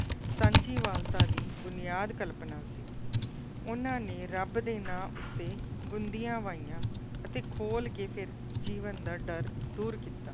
ਸਾਂਝੀਵਾਲਤਾ ਦੀ ਬੁਨਿਆਦ ਕਲਪਨਾ ਸੀ ਉਹਨਾਂ ਨੇ ਰੱਬ ਦੇ ਨਾਂ ਉੱਤੇ ਗੁੰਦੀਆਂ ਵਾਹੀਆਂ ਅਤੇ ਖੋਲ ਕੇ ਫਿਰ ਜੀਵਨ ਦਾ ਡਰ ਦੂਰ ਕੀਤਾ